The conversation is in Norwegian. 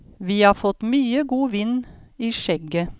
Vi har fått mye god vind i skjegget.